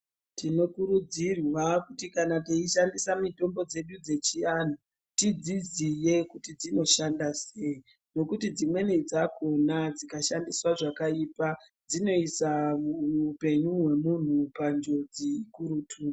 Tinokurudzirwawo kuti kana teishandisa mitombo dzedu dzechiatu tidziziye kuti dzinoshanda sei ngokuti dzimweni dzakhona dziksshandiswa zvakaipa dzinoisa upenyu hwemuntu panjodzi kutu